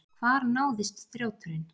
Hvar náðist þrjóturinn?